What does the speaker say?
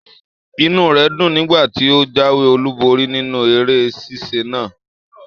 Inú rẹ dùn nígbà tí o jáwé olú borí nínú eré sisa náà.